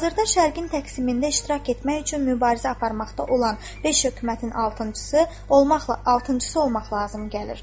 Hazırda Şərqin təqsimində iştirak etmək üçün mübarizə aparmaqda olan beş hökumətin altıncısı olmaqla, altıncısı olmaq lazım gəlir.